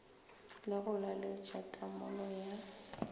le go laletša tamolo ya